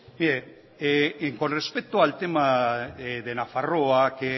mire con respecto al tema de nafarroa que